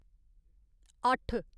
अट्ठ